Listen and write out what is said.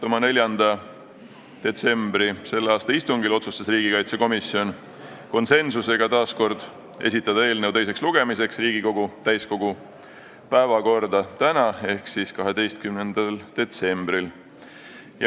Oma 4. detsembri istungil otsustas riigikaitsekomisjon konsensusega esitada eelnõu teiseks lugemiseks Riigikogu täiskogu 12. detsembri istungi päevakorda.